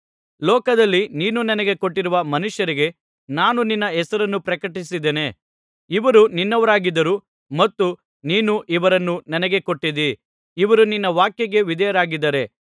ಲೋಕದಲ್ಲಿ ನೀನು ನನಗೆ ಕೊಟ್ಟಿರುವ ಮನುಷ್ಯರಿಗೆ ನಾನು ನಿನ್ನ ಹೆಸರನ್ನು ಪ್ರಕಟಪಡಿಸಿದ್ದೇನೆ ಇವರು ನಿನ್ನವರಾಗಿದ್ದರು ಮತ್ತು ನೀನು ಇವರನ್ನು ನನಗೆ ಕೊಟ್ಟಿದ್ದೀ ಇವರು ನಿನ್ನ ವಾಕ್ಯಕ್ಕೆ ವಿಧೇಯರಾಗಿದ್ದಾರೆ